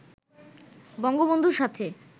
বঙ্গবন্ধুর সাথে